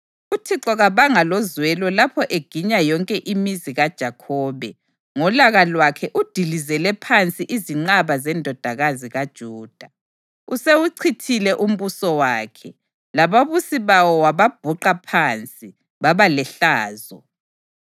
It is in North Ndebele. UThixo kabanga lozwelo lapho eginya yonke imizi kaJakhobe; ngolaka lwakhe udilizele phansi izinqaba zeNdodakazi kaJuda. Usewuchithile umbuso wakhe, lababusi bawo wababhuqa phansi, baba lehlazo.